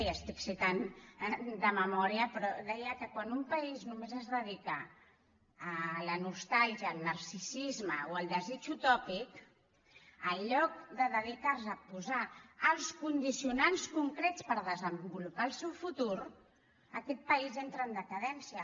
i estic citant de memòria però deia que quan un país només es dedica a la nostàlgia al narcisisme o al desig utòpic en lloc de dedicar se a posar els condicionants concrets per desenvolupar el seu futur aquest país entra en decadència